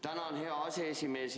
Tänan, hea aseesimees!